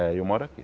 É, eu moro aqui.